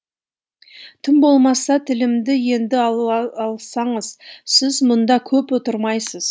тым болмаса тілімді енді алсаңыз сіз мұнда көп отырмайсыз